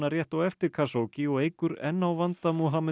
rétt á eftir Khashoggi og eykur enn á vanda